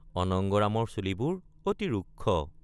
অনঙ্গৰামৰ চুলিবোৰ অতি ৰুক্ষ।